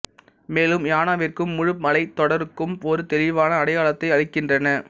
மேலும் யானாவிற்கும் முழு மலைத்தொடருக்கும் ஒரு தெளிவான அடையாளத்தை அளிக்கின்றன